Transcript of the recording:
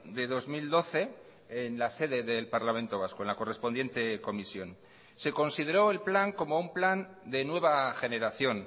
de dos mil doce en la sede del parlamento vasco en la correspondiente comisión se consideró el plan como un plan de nueva generación